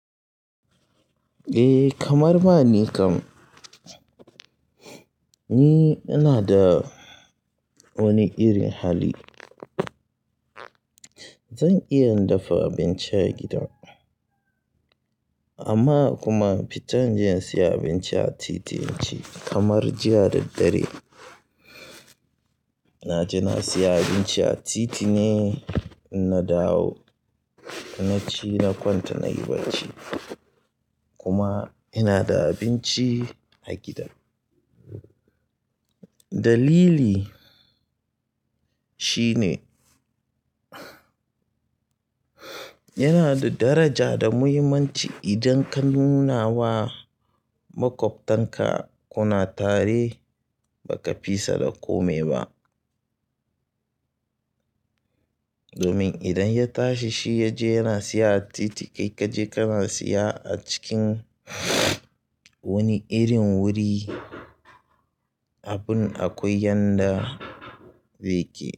Eh kamar ba ni kam, ni ina da wani irin hali. Zan iya in dafa abinci a gida amma kuma in fita in je in siya abinci a titi in ci kamar jiya da dare. Na je na siya abinci a titi ne na dawo na ci na kwanta nayi bacci kuma ina da abinci a gida. Dalili shi ne yana da daraja da muhimmanci idan ka nuna wa maƙwabtanka kuna tare baka fisa da kome ba. Domin idan ya tashi shi ya je yana siya a titi kai kaje kana siya a cikin wani irin wuri, abin akwai yanda beke.